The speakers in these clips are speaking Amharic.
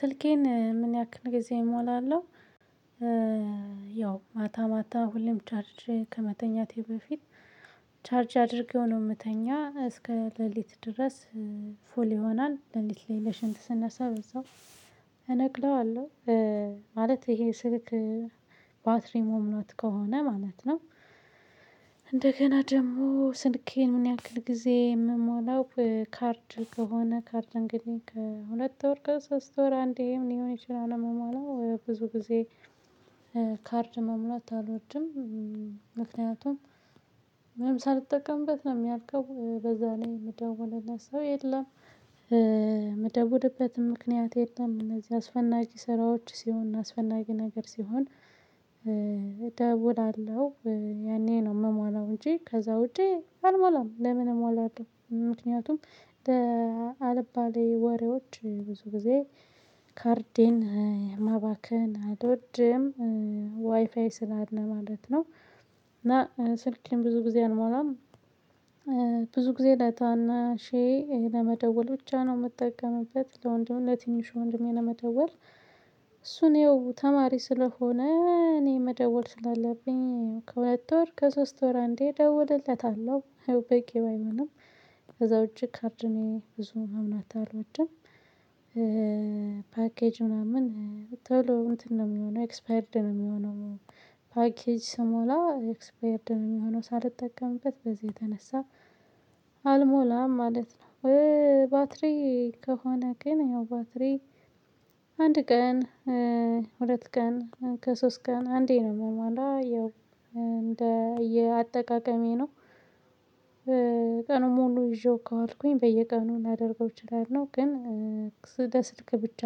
ስልኬን ምን ያክል ጊዜ እሞላለሁ ያው ማታ ማታ ሁሌም ቻርጅ ከመተኛቴ በፊት ቻርጅ አድርጌው ነው የምተኛ እስከ ሌሊት ድረስ ፉል ይሆናል። ሌሊት ላይ ለሽንት ስነሳ በዛው እነቅለዋለሁ። ማለት ይሄ ስልክ ባትሪ ሞም ናት ከሆነ ማለት ነው እንደገና ደግሞ ስልኬን ምን ያህል ጊዜ የምሞላው ካርድ ከሆነ ካርድ እንግዲህ ከሁለት ወር ከሶስት ወር አንዴ ሊሆን ይችላል የምማለው ብዙ ጊዜ ካርድ መሙላት አልወድም ምክንያቱም ምን ሳልጠቀምበት ነው ሚያልቀው በዛላይ የምደውልለት ሰው የለም የምደውልበትም ምክንያት የለም እንደዚህ አስፈናጊ ስራዎች ሲሆን አስፈላጊ ነገር ሲሆን ደውላለሁ ያኔ ነው የምሞላው እንጂ ከዛ ውጪ አልሞላም፤ ለምን እሞላለሁ? ምክንያቱም አልባሌ ወሬዎች ብዙ ጊዜ ማባከን አልወድም ዋይፋይ ስላለ ማለት ነው። እና ስልኬን ብዙ ጊዜ አልሞላም። ብዙ ጊዜ ዳታና ሼህ ለመደወል ብቻ ነው የምጠቀምበት። ለወንድም ለትንሹ ወንድሜ ለመደወል እሱን ያው ተማሪ ስለሆነ እኔ መደወል ስላለብኝ ከሁለት ወር ከሶስት ወር አንዴ ደውልለታለሁ በቂ ባይሆንም ከዛ ውጪ ካርድ እኔ ብዙ መሙላት አልወድም ፓኬጅ ምናምን ቶሎ እንትን ነው የሚሆነው ኤክስፓይርድ ነው የሚሆነው። ፓኬጅ ስሞላ ኤክስፓይርድ የሚሆነው ሳልጠቀምበት በዚህ የተነሳ አልሞላም ማለት ነው። ባትሪ ከሆነ ግን ያው ባትሪ አንድ ቀን ሁለት ቀን ከሶስት ቀን አንዴ ነው የምሞላ ያው እንደ እየአጠቃቀሜ ነው ቀኑን ሙሉ ይዤው ከዋልኩኝ በየቀኑ ላደርገው እችላለሁ። ግን ስደ ስልክ ብቻ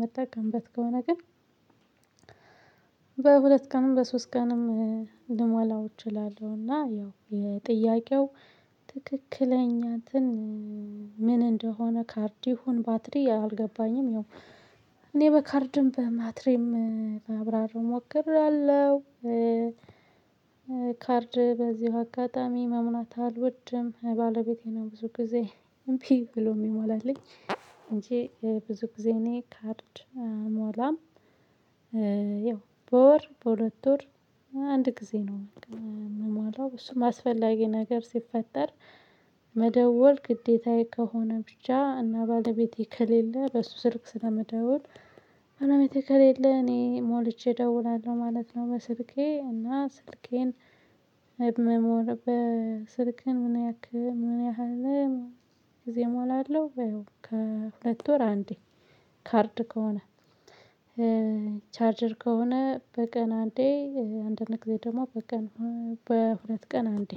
መጠቀምበት ከሆነ ግን በሁለት ቀንም በሶስት ቀንም ልሞላው እችላለሁና እና ያው የጥያቄው ትክክለኛ እንትን ምን እንደሆነ ካርድ ይሁን ባትሪ አልገባኝም ያው እኔ በካርድም በማትሬም ላብራራ ሞክራለሁ ካርድ በዚሁ አጋጣሚ መሙላት አልወድም ባለቤቴ ነው ብዙ ጊዜ እምቢ ብሎ የሚሞላልኝ እንጂ ብዙ ጊዜ እኔ ካርድ አልሞላም ያው በወር በሁለት ወር አንድ ጊዜ ነው የምሞላው እሱም አስፈላጊ ነገር ሲፈጠር መደወል ግዴታዬ ከሆነ ብቻ እና ባለቤቴ ከሌለ በሱ ስርክ ስለምደውል ባለቤቴ ከሌለ እኔ ሞልቼ እደውላለሁ ማለት ነው በስልኬ እና ስልኬን መሞር በስልክህን ምን ያክህ ምን ያህል ጊዜ እሞላለሁ ከሁለት ወር አንዴ ካርድ ከሆነ ቻርደር ከሆነ በቀን አንዴ አንድ ጊዜ ደግሞ በቀን በሁለት ቀን አንዴ